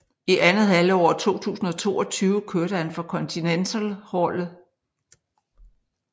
I andet halvår af 2022 kørte han for kontinentalholdet